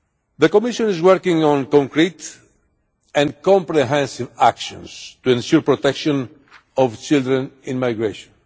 The Commission is working on concrete and comprehensive actions to ensure the protection of children in migration.